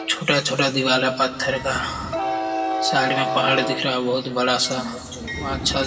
छोटा-छोटा दीवाल है पत्थर का। साइड में पहाड़ दिख रहा है बहुत बड़ा-सा। अच्छा --